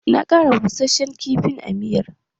Na ƙara bussashen kifi a miyar